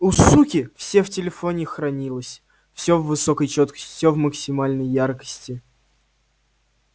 у суки все в телефоне хранилось всё в высокой чёткости всё в максимальной яркости